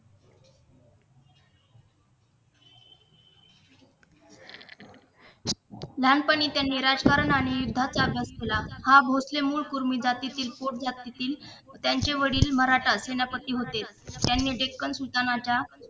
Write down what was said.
लहानपणी त्यांनी राजकारण आणि युद्धाचा अभ्यास केला हा भोसले मूळ कुर्मी जातीतील पोट जातीतील त्यांचे वडील मराठा सेनापती होते त्यांनी डेक्कन सूचनांच्या